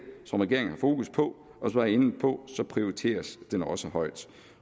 som regeringen har fokus på og som var inde på prioriteres den også højt